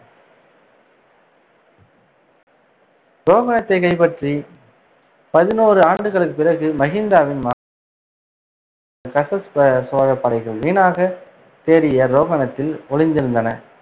ரோகணத்தை கைப்பற்றி பதினோரு ஆண்டுகளுக்குப் பிறகு, மகிந்தவின் மகன் கஸஸ்ப சோழப் படைகள் வீணாகத் தேடிய ரோகணத்தில் ஒளிந்திருந்தன.